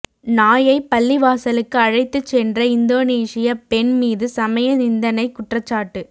நாயைப் பள்ளிவாசலுக்கு அழைத்துச் சென்ற இந்தோனீசிய பெண் மீது சமய நிந்தனை குற்றச்சாட்டு